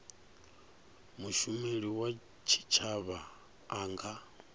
mushumeli wa tshitshavha a nga